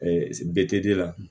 bete la